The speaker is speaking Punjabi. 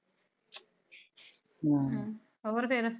ਹਮ ਹੋਰ ਫੇਰ?